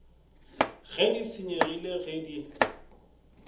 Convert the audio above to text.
ge di senyegile ge di